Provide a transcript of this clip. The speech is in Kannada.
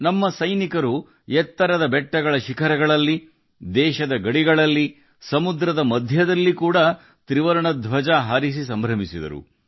ನಮ್ಮ ಸೈನಿಕರು ಎತ್ತರದ ಪರ್ವತಗಳ ಶಿಖರಗಳಲ್ಲಿ ದೇಶದ ಗಡಿಗಳಲ್ಲಿ ಮತ್ತು ಸಮುದ್ರದ ಮಧ್ಯದಲ್ಲಿ ತ್ರಿವರ್ಣ ಧ್ವಜವನ್ನು ಹಾರಿಸಿದರು